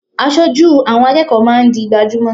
Aṣojú àwọn akẹ́kọ̀ọ́ máa ń di gbajúmò.